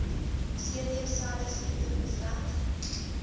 cdselle siekte beveg